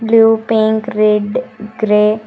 blue pink red grey --